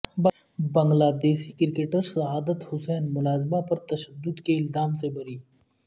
بنگلہ دیشی کرکٹر شہادت حسین ملازمہ پر تشدد کے الزام سے بری